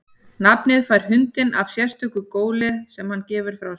Nafnið fær hundurinn af sérstöku góli sem hann gefur frá sér.